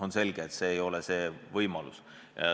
On selge, et see ei ole lahendus.